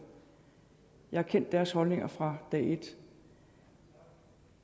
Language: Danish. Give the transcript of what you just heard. jeg har kendt deres holdning fra dag et